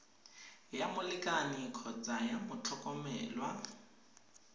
ya molekane kgotsa ya motlhokomelwa